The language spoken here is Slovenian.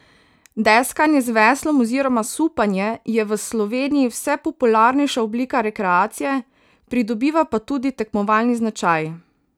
Deskanje z veslom oziroma supanje je v Sloveniji vse popularnejša oblika rekreacije, pridobiva pa tudi tekmovalni značaj.